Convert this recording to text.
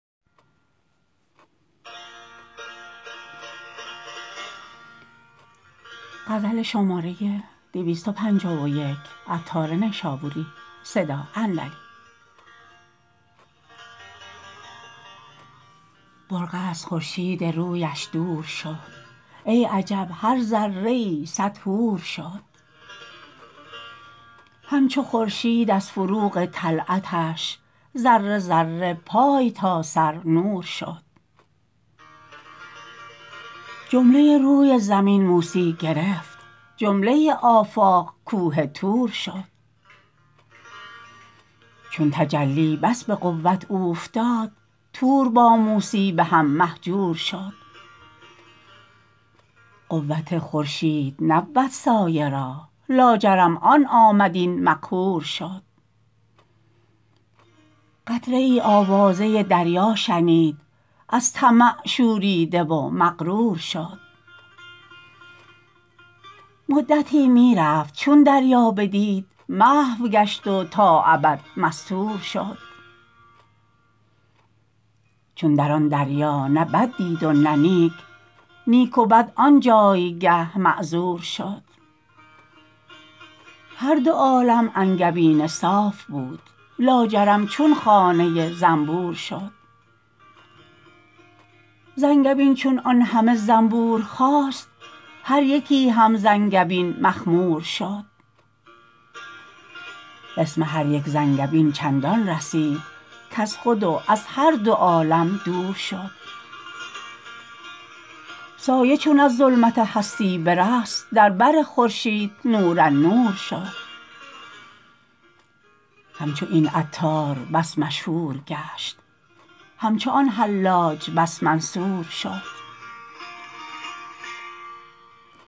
برقع از خورشید رویش دور شد ای عجب هر ذره ای صد حور شد همچو خورشید از فروغ طلعتش ذره ذره پای تا سر نور شد جمله روی زمین موسی گرفت جمله آفاق کوه طور شد چون تجلی اش به فرق که فتاد طور با موسی ز هم مهجور شد فوت خورشید نبود سایه را لاجرم آن آمد این مقهور شد قطره ای آوازه دریا شنید از طمع شوریده و مغرور شد مدتی می رفت چون دریا بدید محو گشت و تا ابد مستور شد چون در آن دریا نه بد دید و نه نیک نیک و بد آنجایگه معذور شد هر دوعالم انگبین صرف بود لاجرم چون خانه زنبور شد زانگبین چون آن همه زنبور خاست هر یکی هم زانگبین مخمور شد قسم هر یک زانگبین چندان رسید کز خود و از هر دو عالم دور شد سایه چون از ظلمت هستی برست در بر خورشید نورالنور شد همچو این عطار بس مشهور گشت همچو آن حلاج بس منصور شد